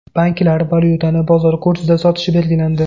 Banklar valyutani bozor kursida sotishi belgilandi.